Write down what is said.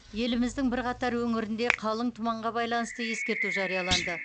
еліміздің бірқатар өңірінде қалың тұманға байланысты ескерту жарияланды